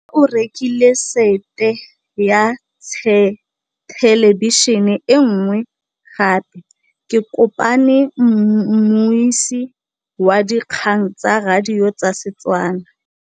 Rre o rekile sete ya thêlêbišênê e nngwe gape. Ke kopane mmuisi w dikgang tsa radio tsa Setswana.